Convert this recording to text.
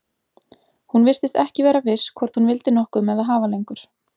Hún virtist ekki vera viss hvort hún vildi nokkuð með það hafa lengur.